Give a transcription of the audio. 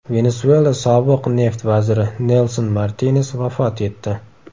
Venesuela sobiq neft vaziri Nelson Martines vafot etdi.